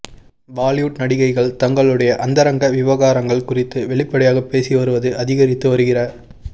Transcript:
பாலிவுட் நடிகைகள் தங்களுடைய அந்தரங்க விவகாரங்கள் குறித்து வெளிப்படையாக பேசி வருவது அதிகரித்து வருகிற